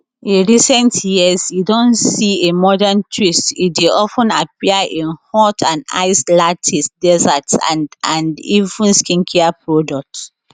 in recent years e don see a modern twist e dey of ten appear in hot and iced lattes desserts and and even skincare products